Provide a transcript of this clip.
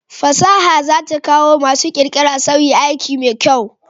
Fasaha za ta sa masu ƙirƙira suyi aiki mai kyau